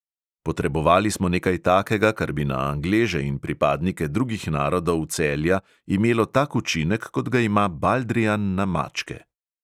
Potrebovali smo nekaj takega, kar bi na angleže in pripadnike drugih narodov celja imelo tak učinek, kot ga ima baldrijan na mačke.